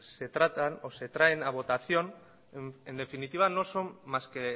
se tratan o se traen a votación en definitiva no son más que